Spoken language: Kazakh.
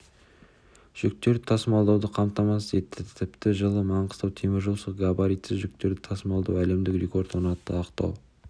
жүктерді тасымалдауды қамтамасыз етті тіпті жылы маңғыстау теміржолшылары габаритсіз жүктерді тасымалдауда әлемдік рекорд орнатты ақтау